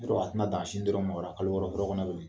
Yɔrɔ a tɛna a dan a sin dɔrɔn ma ola kalo wɔɔrɔ fɔlɔ bilen